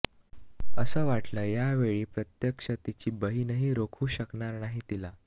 असं वाटलं ह्यावेळी प्रत्यक्ष तिची बहिणही रोखू शकणार नाही तिला